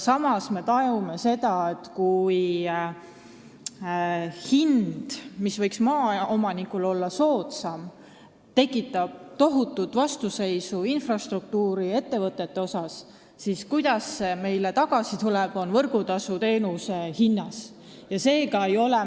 Samas, me tajume seda, et kui hind, mis võiks olla maaomanikule soodsam, tekitab tohutut vastuseisu infrastruktuuriettevõtete seas, siis tuleb see meile tagasi võrgutasuteenuse hinna näol.